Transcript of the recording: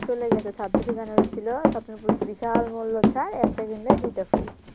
চলে গেছে ছাব্বিশে জানুয়ারি ছিল স্বপ্নপুরীতে বিশাল মূল্যছাড় একটা কিনলে দুইটা ফ্রি